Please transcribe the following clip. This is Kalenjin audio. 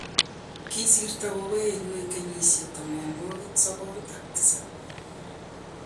kisirto gogoenyu eng' kenyisiek tamanwokik sokol ak tisap.